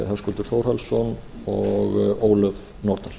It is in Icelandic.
höskuldur þórhallsson og ólöf nordal